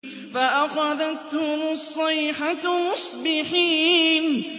فَأَخَذَتْهُمُ الصَّيْحَةُ مُصْبِحِينَ